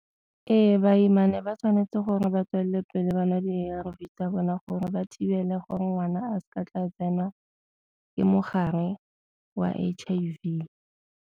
Ee, baimane ba tshwanetse gore ba tswelele pele ba nwa di A_R_V tsa bona gore ba thibela gore ngwana a seka a tla tsenwa ke mogare wa H_I_V.